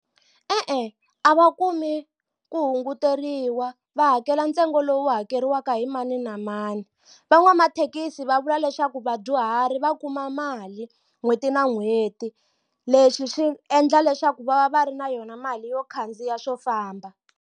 E-e a va kumi ku hunguteriwa va hakela ntsengo lowu hakeriwaka hi mani na mani van'wamathekisi va vula leswaku vadyuhari va kuma mali n'hweti na n'hweti leswi swi endla leswaku va va va ri na yona mali yo khandziya swo famba.